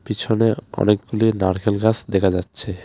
পিছনে অনেকগুলি নারকেল গাছ দেখা যাচ্ছে.